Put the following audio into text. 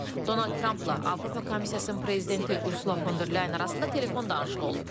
Donald Trampla Avropa Komissiyasının prezidenti Ursula Von der Leyen arasında telefon danışığı olub.